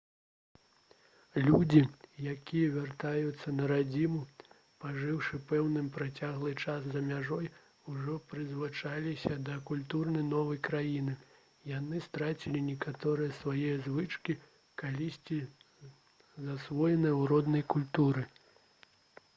людзі якія вяртаюцца на радзіму пажыўшы пэўны працяглы час за мяжой ужо прызвычаіліся да культуры новай краіны яны страцілі некаторыя свае звычкі калісьці засвоеныя ў роднай культуры